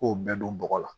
K'o bɛɛ don bɔgɔ la